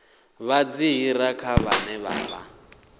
vha dziṱhirakha vhane vha vha